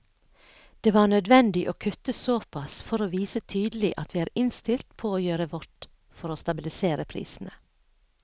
Det var nødvendig å kutte såpass for å vise tydelig at vi er innstilt på å gjøre vårt for å stabilisere prisene.